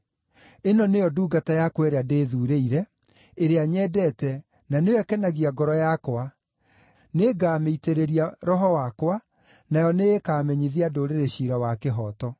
“Ĩno nĩyo ndungata yakwa ĩrĩa ndĩĩthuurĩire, ĩrĩa nyendete, na nĩyo ĩkenagia ngoro yakwa; nĩngamĩitĩrĩria Roho wakwa, nayo nĩĩkamenyithia ndũrĩrĩ ciira wa kĩhooto.